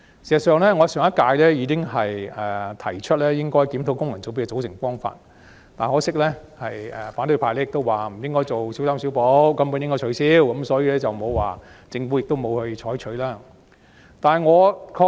事實上，我在上屆立法會已提出檢討功能界別的組成方法，可惜反對派表示不應小修小補，而應全面取消，故政府亦未有採納我的意見。